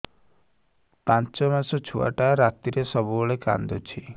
ପାଞ୍ଚ ମାସ ଛୁଆଟା ରାତିରେ ସବୁବେଳେ କାନ୍ଦୁଚି